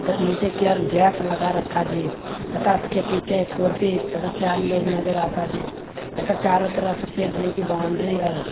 त नीचे की और गैस लगा रखा जी तथा उसके पीछे कुर्सी तथा चार लोग नज़र आता जी तथा चारों तरफ सफ़ेद रंग की बाउंड्री और --